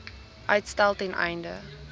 uitstel ten einde